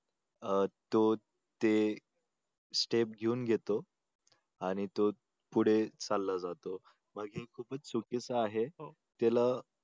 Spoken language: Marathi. अं तो ते step घेऊन घेतो आणि तो पुढे चालला जातो बाकी खूपच चुकीचं आहे त्याला